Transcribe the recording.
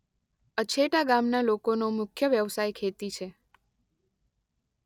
અછેટા ગામના લોકોનો મુખ્ય વ્યવસાય ખેતી છે.